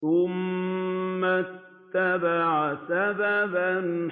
ثُمَّ أَتْبَعَ سَبَبًا